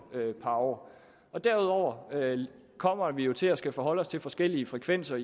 par år derudover kommer vi jo til at skulle forholde os til forskellige frekvenser